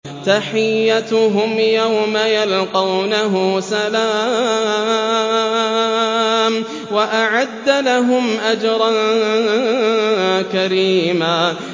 تَحِيَّتُهُمْ يَوْمَ يَلْقَوْنَهُ سَلَامٌ ۚ وَأَعَدَّ لَهُمْ أَجْرًا كَرِيمًا